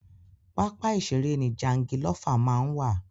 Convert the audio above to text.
Pápá ìṣère ni jangilófà máa ń wà.